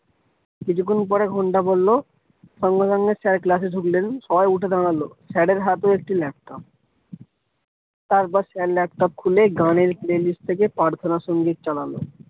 কিছুক্ষন পরে ঘন্টা পড়লো সঙ্গে সঙ্গে sir class এ ঢুকলেন সবাই উঠে দাঁড়ালো। sir এর হাতেও একটি laptop তার পর sir laptop খুলে গানের play list থেকে প্রার্থনা সঙ্গীত চালালো।